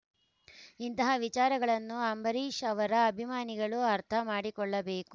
ಇಂತಹ ವಿಚಾರಗಳನ್ನು ಅಂಬರೀಷ್‌ ಅವರ ಅಭಿಮಾನಿಗಳು ಅರ್ಥ ಮಾಡಿಕೊಳ್ಳಬೇಕು